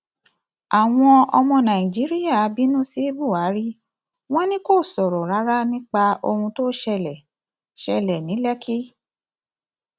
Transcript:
àwọn ọmọ nàìjíríà bínú sí buhari wọn ni kò sọrọ rárá nípa ohun tó ṣẹlẹ ṣẹlẹ ní lékì